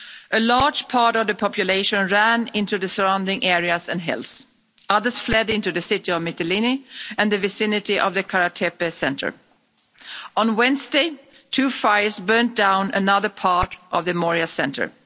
A large part of the population ran into the surrounding areas and hills, others fled into the city of Mytilene and the vicinity of the Kara Tepe centre. On Wednesday two fires burnt down another part of the Moria centre.